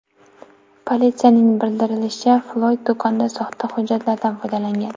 Politsiyaning bildirishicha, Floyd do‘konda soxta hujjatlardan foydalangan.